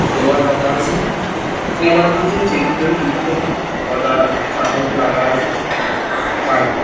Flavour রাখা আছে। Flavour দিয়ছে চেরি পেরি দিয়ছে কটা চামচ রাখা আছে। বাকি --